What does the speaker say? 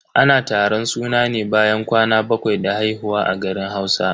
Ana taron suna ne bayan kwana bakwai da haihuwa a garin Hausa.